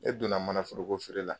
E donna manaforoko feere la